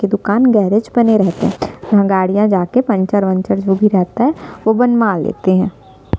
की दुकान गैरेज बने रहते है यहाँ गाड़िया जा के पंचर वनचर जो भी रहता है वो बनवा लेते है।